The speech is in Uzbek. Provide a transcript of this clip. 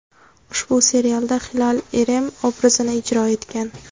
Ushbu serialda Hilal Irem obrazini ijro etgan.